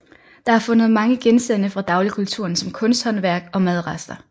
Der er fundet mange genstande fra dagligkulturen som kunsthåndværk og madrester